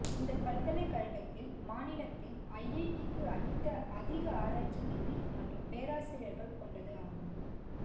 இந்த பல்கலைக்கழகத்தில் மாநிலத்தில் ஐஐடிக்கு அடுத்த அதிக ஆராய்ச்சி நிதி மற்றும் பேராசிரியர்கள் கொண்டது ஆகும்